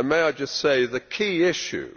May I just say that the key issue